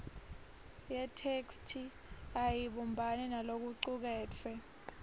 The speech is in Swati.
yetheksthi ayibumbani nalokucuketfwe